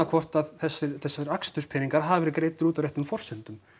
hvort að þessir þessir aksturspeningar hafi verið greiddir út á réttum forsendum